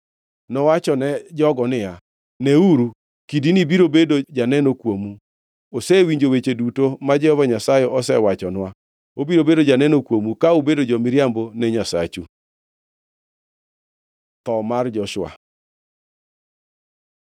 Nowachone jogo niya, “Neuru! Kidini biro bedo janeno kuomu. Osewinjo weche duto ma Jehova Nyasaye osewachonwa. Obiro bedo janeno kuomu ka ubedo jo-miriambo ne Nyasachu.” Tho mar Joshua